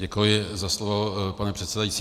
Děkuji za slovo, pane předsedající.